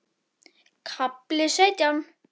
KAFLI SAUTJÁN